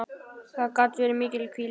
Það gat verið mikil hvíld.